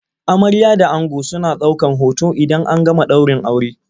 Amarya da ango suna daukan hoton idan an gama daurin aure.